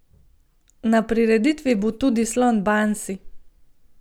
Na prireditvi bo tudi slon Bansi!